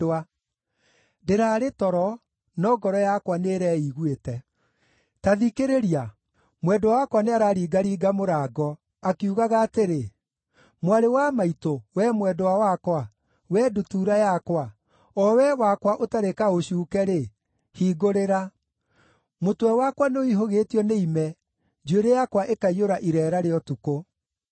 Ndĩrarĩ toro, no ngoro yakwa nĩĩreiguĩte. Ta thikĩrĩria! Mwendwa wakwa nĩararingaringa mũrango, akiugaga atĩrĩ: “Mwarĩ wa maitũ, wee mwendwa wakwa, wee ndutura yakwa, o wee wakwa ũtarĩ kaũcuuke-rĩ, hingũrĩra. Mũtwe wakwa nĩũihũgĩtio nĩ ime, njuĩrĩ yakwa ĩkaiyũra ireera rĩa ũtukũ.”